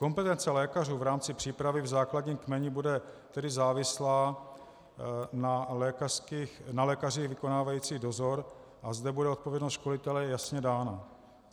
Kompetence lékařů v rámci přípravy v základním kmeni bude tedy závislá na lékařích vykonávajících dozor a zde bude odpovědnost školitele jasně dána.